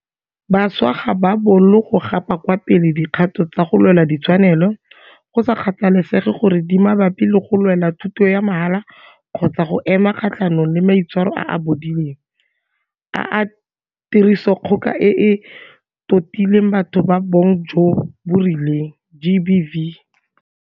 Bašwa ga ba bolo go gapa kwa pele dikgato tsa go lwela ditshwanelo, go sa kgathalesege gore di mabapi le go lwela thuto ya mahala kgotsa go ema kgatlhanong le maitshwaro a a bodileng a tirisodikgoka e e totileng batho ba bong jo bo rileng GBV.